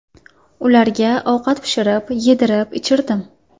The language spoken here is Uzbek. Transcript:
Ularga ovqat pishirib, yedirib-ichirdim.